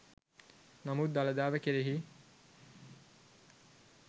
නමුත් දළදාව කෙරෙහි